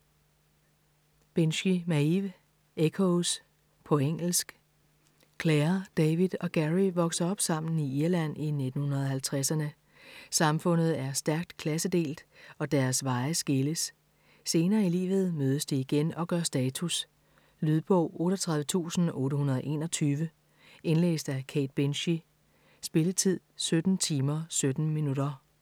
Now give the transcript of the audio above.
Binchy, Maeve: Echoes På engelsk. Clare, David og Gerry vokser op sammen i Irland i 1950'erne. Samfundet er stærkt klassedelt, og deres veje skilles. Senere i livet mødes de igen og gør status. Lydbog 38821 Indlæst af Kate Binchy Spilletid: 17 timer, 17 minutter.